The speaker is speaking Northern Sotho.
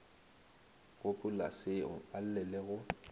gopolaseo a lle le go